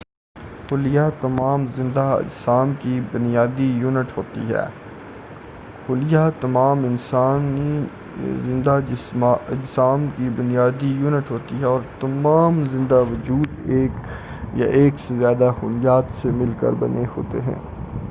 خلیہ تمام زندہ اجسام کی بنیادی یونٹ ہوتی ہے اور تمام زندہ وجود ایک یا ایک سے زیادہ خلیات سے مل کر بنے ہوتے ہیں